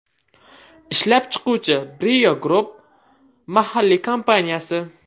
Ishlab chiquvchi Brio Group mahalliy kompaniyasi.